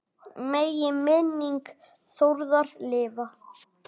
Megi minning Þórðar lifa.